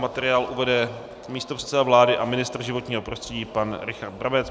Materiál uvede místopředseda vlády a ministr životního prostředí pan Richard Brabec.